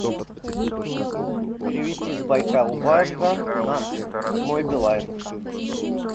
перевести с байкал банка на мой билайн